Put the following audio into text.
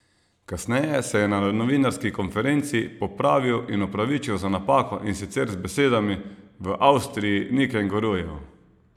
Kasneje se je na novinarski konferenci popravil in opravičil za napako, in sicer z besedami: "V Avstriji ni kengurujev.